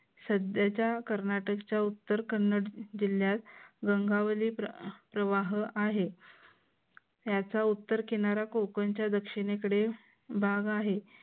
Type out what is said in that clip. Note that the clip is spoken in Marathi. सध्याच्या कर्नाटकच्या उत्तर कन्नड जिल्ह्यात गंगावले प्रवाह आहे. याचा उत्तर किनारा कोकणच्या दक्षिणेकडे भाग आहे.